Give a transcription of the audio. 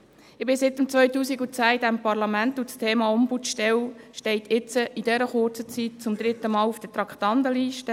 Ich bin seit 2010 in diesem Parlament, und das Thema Ombudsstelle steht jetzt in dieser kurzen Zeit zum dritten Mal auf der Traktandenliste.